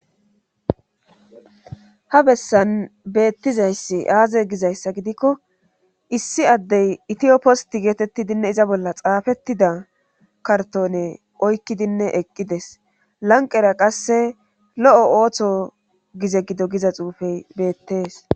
ha bessan beettizayssi aaze gizayssa gidikko issi addey itiyoposti geetettidinne iza bolla xaafettida kartone oykkidinne eqqides lanqera qasse lo7o ooththo gize gido giza xuufey beettees